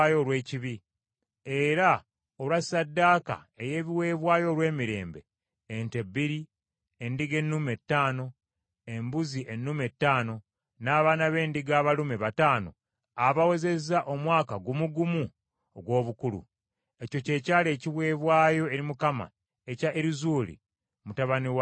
era olwa ssaddaaka ey’ebiweebwayo olw’emirembe: ente bbiri, endiga ennume ttaano, embuzi ennume ttaano, n’abaana b’endiga abalume bataano abawezezza omwaka gumu gumu ogw’obukulu. Ekyo kye kyali ekiweebwayo eri Mukama ekya Erizuuli mutabani wa Sedewuli.